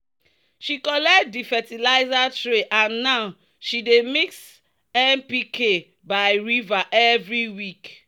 "she collect di fertilizer tray and now she dey mix npk by river every week."